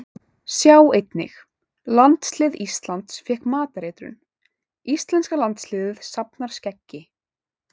Sjá einnig: Landslið Íslands fékk matareitrun Íslenska landsliðið safnar skeggi